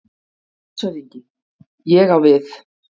LANDSHÖFÐINGI: Ég á við.